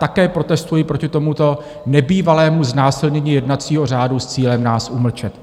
Také protestuji proti tomuto nebývalému znásilnění jednacího řádu s cílem nás umlčet.